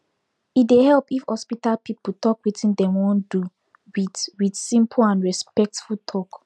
e dey help if hospital people talk wetin dem wan do with with simple and respectful talk